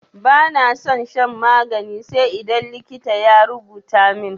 Bana son shan magani sai idan likita ya rubuta min.